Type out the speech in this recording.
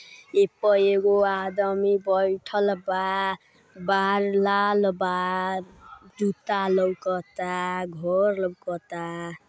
App एगो आदमी बईठल बा। बार लाल बा। जूता लौकता घर लौकता।